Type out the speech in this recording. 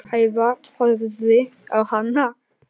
Heiða horfði á hana.